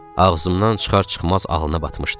Ağzımdan çıxar-çıxmaz ağlına batmışdı.